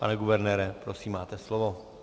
Pane guvernére, prosím, máte slovo.